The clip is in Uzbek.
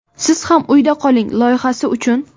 siz ham uyda qoling loyihasi uchun.